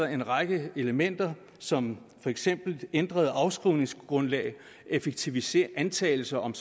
en række elementer som for eksempel ændrede afskrivningsgrundlag effektiviseringsantagelser om